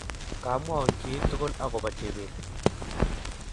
Kamwaun kiy tugul agoba Chebet